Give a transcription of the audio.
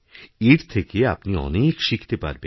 এর থেকে আপনিঅনেক শিখতে পারবেন